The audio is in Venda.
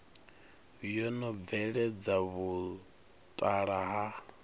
yo no bveledza vhutala ha